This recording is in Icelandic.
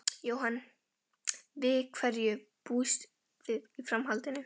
Jóhann: Við hverju búist þið í framhaldinu?